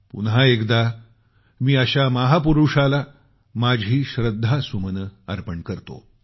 पुन्हा एकदा मी अशा महापुरुषाला माझी श्रद्धासुमने अर्पण करतो